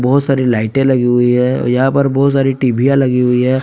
बहुत सारी लाइटें लगी हुई है और यहां पर बहुत सारी टीबीया लगी हुई है।